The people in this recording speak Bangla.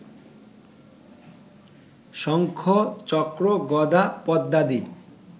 শঙ্খ-চক্র-গদা-পদ্মাদি